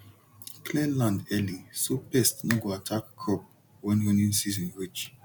clear land early so pest no go attack crop when rainy season reach